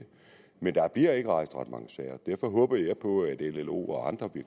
men der bliver ikke rejst ret mange sager derfor håber jeg på at llo og andre